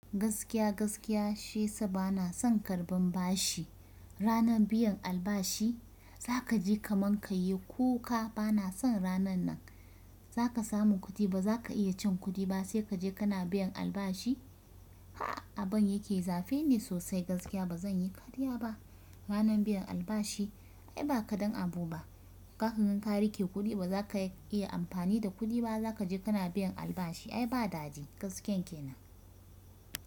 Gaskiya gaskiya shi yasa bana son karban bashi. Ranan biyan albashi za kaji kaman ka yi kuka bana son ranan nan. Za ka samu kuɗi ba za ka iya cin kuɗi ba sai kaje kana biyan albashi. A'a aban yake zafe ni sosai gaskiya ba zan yi karya ba. Ranan biyan albashi ai ba kadan abu ba. Kaka gan ka rike kuɗi ba za ka iya amfani da kuɗi ba. Za kaje kana biyan albashi ai ba dadi gaskiyan kenan.